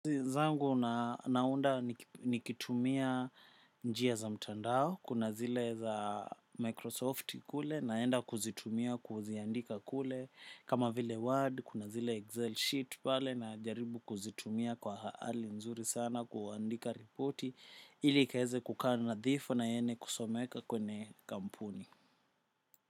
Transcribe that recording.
Zangu naunda nikitumia njia za mtandao, kuna zile za Microsoft kule, naenda kuzitumia kuziandika kule, kama vile Word, kuna zile Excel sheet pale, na jaribu kuzitumia kwa hali nzuri sana, kuandika ripoti, ili ikaweze kukaa nadhifu na yenye kusomeka kwenye kampuni.